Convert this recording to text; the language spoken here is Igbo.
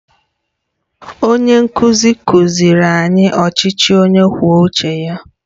Onye nkuzi kụziiri anyị ọchịchị onye kwuo uche ya?